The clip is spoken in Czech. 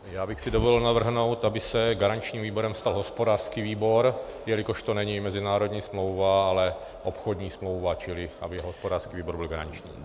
Já bych si dovolil navrhnout, aby se garančním výborem stal hospodářský výbor, jelikož to není mezinárodní smlouva, ale obchodní smlouva, čili aby hospodářský výbor byl garanční.